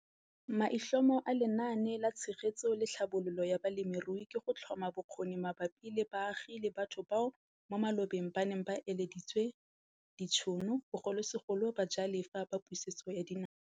Maitlhomo a Lenaane la Tshegetso le Tlhabololo ya Balemirui ke go tlhoma bokgoni mabapi le baagi le batho bao mo malobeng ba neng ba ileditswe ditšhono, bogolosegolo bajalefa ba Pusetso ya Dinaga.